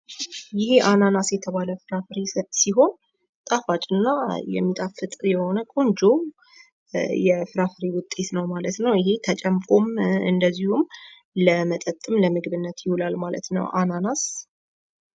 ይሄ አናናስ የተባለ ፍራፍሬ ሲሆን ጣፋጭ እና የሚጣፍጥ የሆነ ቆንጆ የፍራፍሬ ዉጤት ነው። ማለት ነው። እሂ ተጨምቆም እንደዚሁም ለመጠጥም ለምግብነትም ይዉላል ማለት ነው።